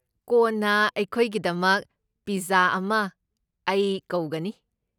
ꯀꯣꯟꯅ ꯑꯩꯈꯣꯏꯒꯤꯗꯃꯛ ꯄꯤꯖꯖꯥ ꯑꯃ ꯑꯩ ꯀꯧꯒꯅꯤ꯫